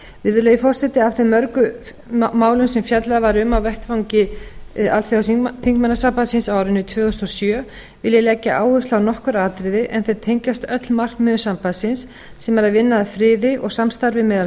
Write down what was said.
virðulegi forseti af þeim mörgu málum sem fjallað er um á vettvangi alþjóðaþingmannasambandsins á árinu tvö þúsund og sjö vil ég leggja áherslu á nokkur atriði en þau tengjast öll markmiðum sambandsins sem er að vinna að friði og samstarfi meðal